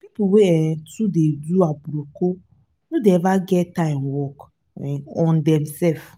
pipu wey um too dey do aproko no dey eva get time work um on themsef.